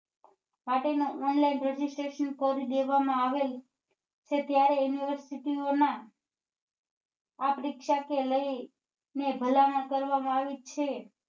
માટે ના online registration કરી દેવા માં આવેલ છે ત્યારે university ઓ ના આ પરીક્ષા ને લઇ ને ભલામણ કરવા માં આવી છે